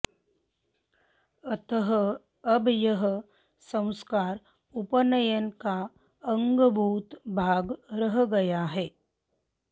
अतः अब यह संस्कार उपनयन का अंगभूत भाग रह गया है